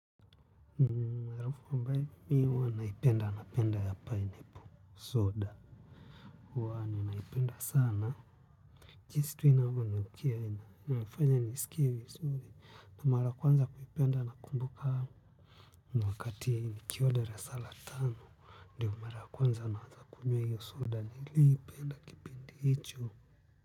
Mwarafu ambae, mi huwa naipenda, napenda ya pineapple, soda. Huwa naipenda sana jinsi tu inavyonukia inafanya niskie vizuri na mara ya kwanza kuipenda na kumbuka ni wakati nikiwa darasa la tano ndo mara ya kwanza naanza kunywa hiyo soda nilipenda kipindi hicho.